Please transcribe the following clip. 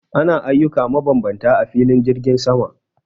Ana ayyuka mabambanta a filin jirgin sama